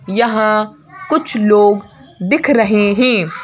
यहां कुछ लोग दिख रहे हैं।